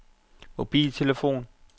mobiltelefon